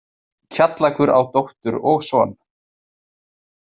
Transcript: Kjallakur á dóttur og son.